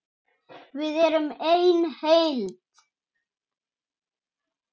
Við erum ein heild!